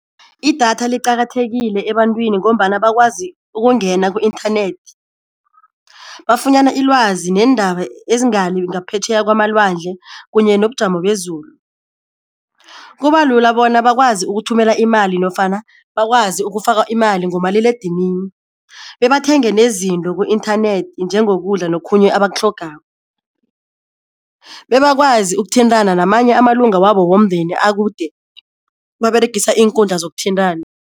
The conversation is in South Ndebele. I-data liqakathekile ebantwini ngombana bakwazi ukungena ku-inthanethi bafunyana ilwazi neendaba ezingale ngaphetjheya kwamalwandle kunye nobujamo bezulu. Kuba lula bona bakwazi ukuthumela imali nofana bakwazi ukufaka imali ngomaliledinini, bebathenge nezinto ku-inthanethi njengokudla nokhunye abakutlhogako, bebakwazi ukuthintana namanye amalunga wabo womndeni akude baberegisa iinkundla zokuthintana.